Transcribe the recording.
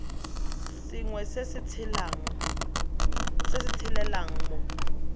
sengwe se se tshelelang mo